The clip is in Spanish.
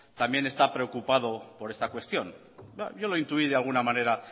también están preocupado por esta cuestión yo lo intuí de alguna manera